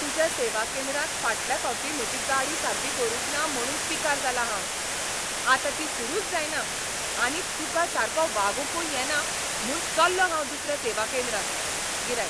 तुज्या सेवा केंद्रांत फाटल्या फावटी म्हजी गाडी सारकी करूंक ना म्हुणून पिकार जालां हांव. आतां ती सुरूच जायना आनी तुका सारको वागूंकुय येना म्हूण चल्लों हांव दुसऱ्या सेवा केंद्रांत. गिरायक